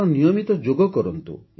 ଆପଣ ନିୟମିତ ଯୋଗ କରନ୍ତୁ